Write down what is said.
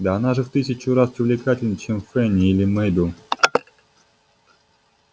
да она же в тысячу раз увлекательней чем фэнни или мейбелл